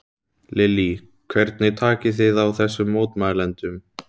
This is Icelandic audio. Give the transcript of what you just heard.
Lillý: Hvernig takið þið á þessum mótmælendum?